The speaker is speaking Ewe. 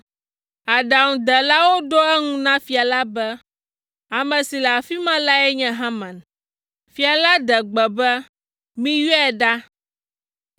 Aɖaŋudelawo ɖo eŋu na fia la be, “Ame si le afi ma lae nye Haman.” Fia la ɖe gbe be, “Miyɔe ɖa.”